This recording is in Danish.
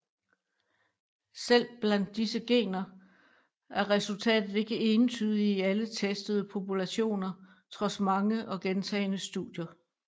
Selv blandt disse gener er resultatet ikke entydigt i alle testede populationer trods mange og gentagne studier